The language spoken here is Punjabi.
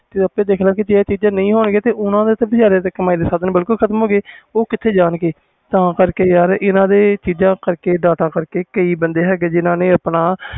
ਤੂੰ ਆਪੇ ਦੇਖ ਲੈ ਜੇ ਆਹ ਸਾਧਨ ਨਹੀਂ ਹੋਣ ਗਏ ਤੇ ਉਹ ਬੰਦੇ ਕਿਥੇ ਜਾਨ ਗਏ ਤੇ ਤਾ data ਕਰਕੇ ਇਹਨਾਂ ਕਰਕੇ ਕਈ ਬੰਦੇ ਹੈ ਗਏ